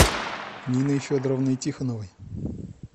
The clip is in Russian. ниной федоровной тихоновой